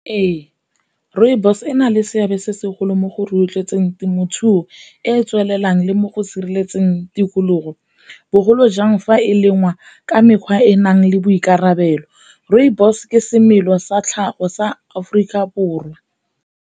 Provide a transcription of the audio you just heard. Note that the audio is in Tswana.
Ee, rooibos ena le seabe se segolo mo go rotloetseng temothuo e e tswelelang le mo go sireletseng tikologo, bogolo jang fa e le ngwa ka mekgwa e e nang le boikarabelo. Rooibos ke semela sa tlhago sa Aforika Borwa.